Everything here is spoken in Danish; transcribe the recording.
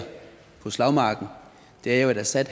på slagmarken er jo at assad